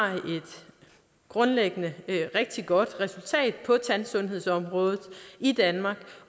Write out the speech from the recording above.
grundlæggende et rigtig godt resultat på tandsundhedsområdet i danmark